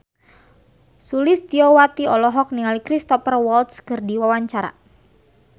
Sulistyowati olohok ningali Cristhoper Waltz keur diwawancara